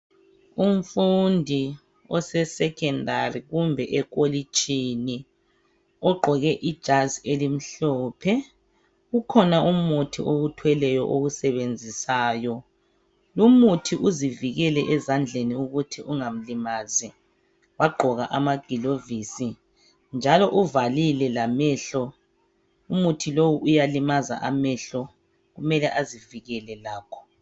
Umfundi ose secondary kumbe ekolitshini ogqoke ijazi elimhlophe. Ukhona umuthi owuthweleyo owusebenzisayo, lumfundi uzivikele ezandleni ukuthi ungamlimazi wagqoka amagilovisi njalo uvalile lamehlo. Umuthi lowu uyalimaza amehlo kumele azivikele lakho.